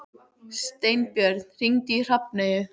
Steinbjörn, hringdu í Hrafneyju.